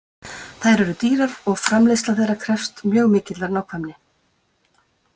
Þær eru dýrar og framleiðsla þeirra krefst mjög mikillar nákvæmni.